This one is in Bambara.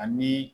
Ani